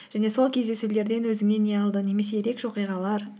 және сол кездесулерден өзіңе не алдың немесе ерекше оқиғалар